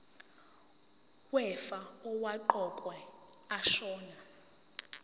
wefa owaqokwa ashona